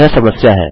यह समस्या है